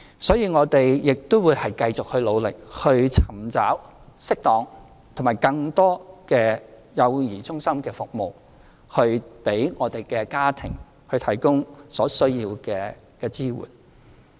所以，我們亦會繼續努力尋找適當和更多的幼兒中心服務，為家庭提供所需的支援。